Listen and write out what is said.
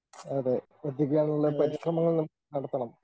അതെ പരിശ്രമങ്ങൾ നടത്തണം.